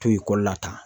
To ekɔli la tan